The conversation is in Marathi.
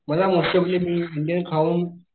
मला मस्त पैकी मी इंडियन खाऊन